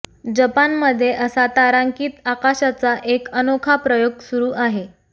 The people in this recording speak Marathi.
जपानमध्ये असा तारांकित आकाशाचा एक अनोखा प्रयोग सुरू आहे